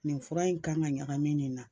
Nin fura in kan ka ɲagami nin na